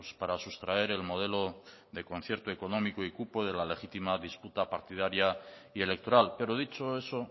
para sustraer el modelo de concierto económico y cupo de la legítima disputa partidaria y electoral pero dicho eso